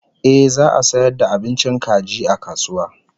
Ehh za'a sayar da abincin kaji a kasuwa